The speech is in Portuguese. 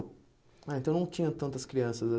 Ah, então não tinha tantas crianças